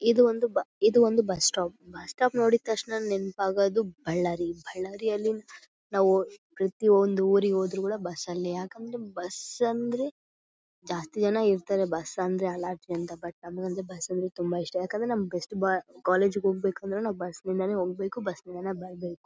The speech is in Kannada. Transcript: ಇದು ಒಂದು ಬ ಇದು ಒಂದು ಬಸ್ ಸ್ಟಾಪ್ ಬಸ್ ಸ್ಟಾಪ್ ನೋಡಿ ತಕ್ಷಣ ನೆನಪಾಗೋದು ಬಳ್ಳಾರಿಯಲ್ಲಿ ಬಳ್ಳಾರಿಯಲ್ಲಿ ನಾವು ಪ್ರತಿಯೊಂದು ಊರಿಗೆ ಹೋದ್ರು ಕೂಡ ಬಸ್ ಅಲ್ಲೇ ಯಾಕಂದ್ರೆ ಬಸ್ ಅಂದ್ರೆ ಜಾಸ್ತಿ ಜನ ಇರತ್ತರೆ ಬಸ್ ಅಂದ್ರೆ ಬಟ್ ನಮ್ಮಗೆ ಬಸ್ ಅಂದ್ರೆ ತುಂಬಾ ಇಷ್ಟ ಯಾಕಂದ್ರೆ ಕಾಲೇಜ್ ಗೆ ಹೋಗಬೇಕಂದ್ರೆ ಬಸ್ ನಿಂದನೆ ಹೋಗಬೇಕು ಬಸ್ ನಿಂದನೆ ಬರಬೇಕು .